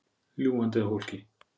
Ljúgandi að fólki.